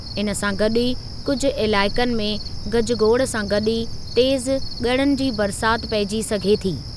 इन सां गॾु ई कुझु इलाइक़नि में गज़गोड़ सां गॾु ई तेज़ु ॻड़नि जी बरसाति पइजी सघे थी।